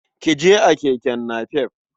Ki je a keke napep.